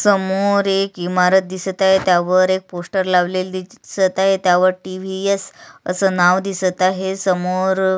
समोर एक इमारत आहे त्यावर एक पोस्टर लावलेली दिसत आहे त्यावर टी.व्ही.एस. अस नाव दिसत आहे समोर.